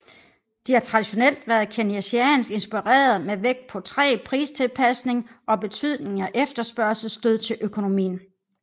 De har traditionelt været keynesiansk inspirerede med vægt på træg pristilpasning og betydningen af efterspørgselsstød til økonomien